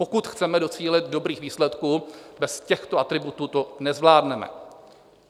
Pokud chceme docílit dobrých výsledků, bez těchto atributů to nezvládneme.